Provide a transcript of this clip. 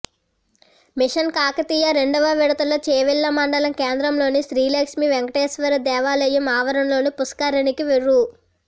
machine Kakatiya రెండవ విడతలో చేవెళ్ల మండల కేంద్రంలోని శ్రీ లక్ష్మీ వేంకటేశ్వర దేవాలయం ఆవరణలోని పుష్కరిణికి రూ